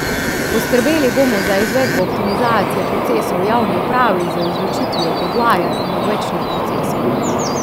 Poskrbeli bomo za izvedbo optimizacije procesov v javni upravi z izločitvijo podvajanj in odvečnih procesov.